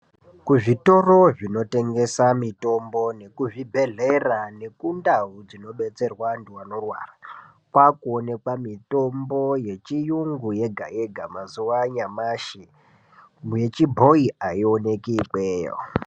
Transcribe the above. Kuzvitoro zvinotengesa mutombo nekuzvibhedhlera nekundau dzinodetserwa antu anorwara kwakuonekwa mitombo yechiyungu yega yega mazuwanyashi, yechibhoyi aiwoneki ikweyo.